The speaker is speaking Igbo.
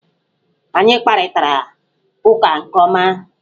Anyị kparịtara ụka nke ọma.